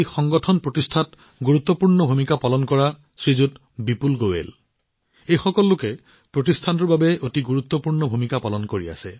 প্ৰতিষ্ঠানটোৰ গঠনত গুৰুত্বপূৰ্ণ ভূমিকা পালন কৰা শ্ৰীমান বিপুল গোৱেলে এই প্ৰতিষ্ঠানটোৰ বাবে এক অতি গুৰুত্বপূৰ্ণ ভূমিকা পালন কৰি আছে